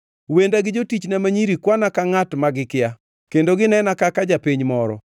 Wenda gi jotichna ma nyiri kwana kaka ngʼat ma gikia; kendo ginena kaka japiny moro.